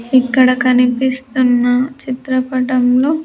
ఇక్కడ కనిపిస్తున్న చిత్రపటంలో.